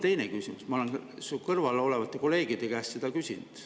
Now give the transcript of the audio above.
Ma olen su kõrval olevate kolleegide käest seda ka küsinud.